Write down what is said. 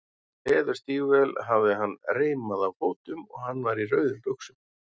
Leðurstígvél hafði hann reimuð á fótum og hann var í rauðum buxum.